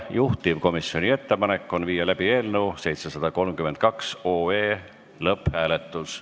Juhtivkomisjoni ettepanek on viia läbi eelnõu 732 lõpphääletus.